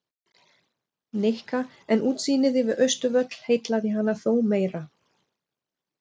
Nikka en útsýnið yfir Austurvöll heillaði hana þó meira.